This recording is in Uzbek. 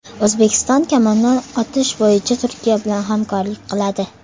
O‘zbekiston kamondan otish bo‘yicha Turkiya bilan hamkorlik qiladi.